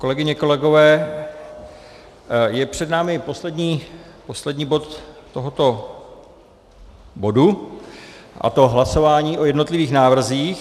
Kolegyně, kolegové, je před námi poslední bod tohoto bodu, a to hlasování o jednotlivých návrzích.